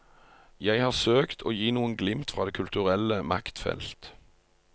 Jeg har søkt å gi noen glimt fra det kulturelle maktfelt.